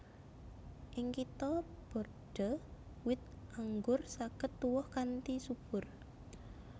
Ing Kitha Bordeaux wit anggur saged tuwuh kanthi subur